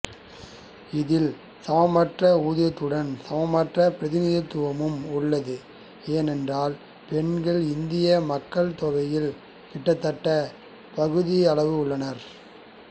இதில் சமமற்ற ஊதியத்துடன் சமமற்ற பிரதிநிதித்துவமும் உள்ளது ஏனென்றால் பெண்கள் இந்திய மக்கட் தொகையில் கிட்டத்தட்ட பகுதி அளவு உள்ளனர்